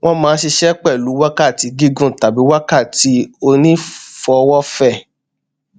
wọn máa n ṣiṣẹ pẹlú wákàtí gígùn tàbí wákàtí onífowófẹ